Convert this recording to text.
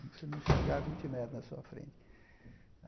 Você não enxergar vinte metros na sua frente.